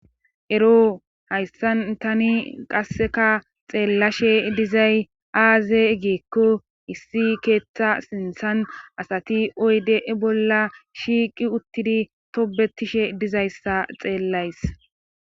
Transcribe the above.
ero hayssan tani qasseka xeellashe dizay aaze giikko issi keeththa sintsan asati oyde e bolla shiiqi uttidi tobetishe dizayssa xeellays.